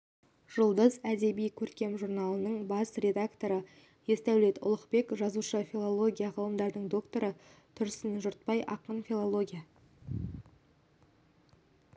жұлдыз әдеби-көркем журналының бас редакторы есдәулет ұлықбек жазушы филология ғылымдарының докторы тұрсын жұртбай ақын филология